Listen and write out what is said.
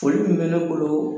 Foli min bɛ ne bolo